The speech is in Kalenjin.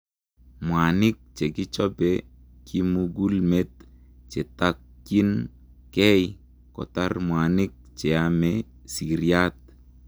mwaniik chekichope kimugulmet chetakyiin gei kotar mwanik cheamee siryaat